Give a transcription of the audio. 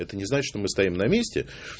это не значит что мы стоим на месте